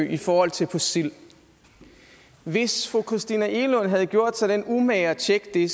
i forhold til på sild hvis fru christina egelund havde gjort sig den umage at tjekke det